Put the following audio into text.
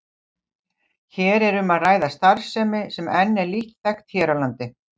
Hér er um að ræða starfsemi sem enn er lítt þekkt hér á landi.